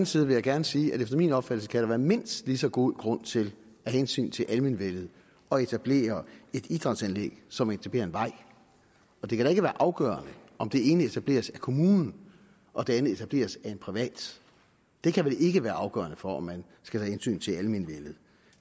side vil jeg gerne sige at efter min opfattelse kan der være mindst lige så god grund til af hensyn til almenvellet at etablere et idrætsanlæg som at etablere en vej og det kan da ikke være afgørende om det ene etableres af kommunen og det andet etableres af en privat det kan vel ikke være afgørende for om man skal tage hensyn til almenvellet